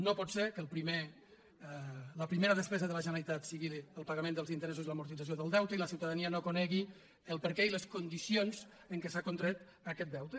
no pot ser que la primera despesa de la generalitat sigui el pagament dels interessos i l’amortització del deute i la ciutadania no conegui el perquè i les condicions en què s’ha contret aquest deute